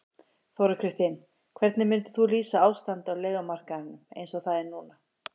Þóra Kristín: Hvernig myndir þú lýsa ástandinu á leigumarkaðnum eins og það er núna?